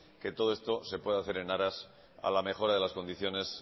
que todo esto se pueda hacer en aras a la mejora de las condiciones